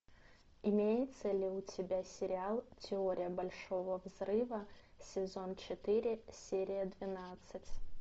имеется ли у тебя сериал теория большого взрыва сезон четыре серия двенадцать